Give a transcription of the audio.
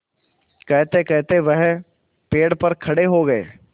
कहतेकहते वह पेड़ पर खड़े हो गए